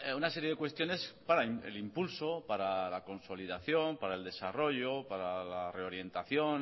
una serie de cuestiones para el impulso para la consolidación para el desarrollo para la reorientación